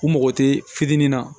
U mago tɛ fitinin na